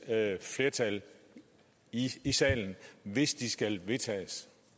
flertal i salen hvis de skal vedtages